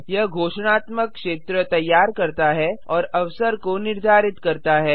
यह घोषणात्मक क्षेत्र तैयार करता है और अवसर को निर्धारित करता है